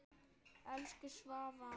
Elsku Svava frænka.